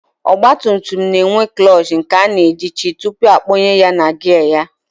Ọgbatumtum na-enwe klọọchị nke a na-ejichi tupu akpọnye ya na gịya